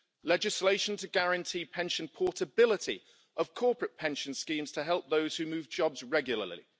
Legislation should guarantee pension portability of corporate pension schemes to help those who move jobs regularly.